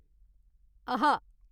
अः